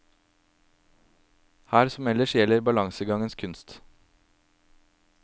Her som ellers gjelder balansegangens kunst.